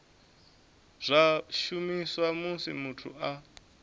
zwa shumiswa musi muthu a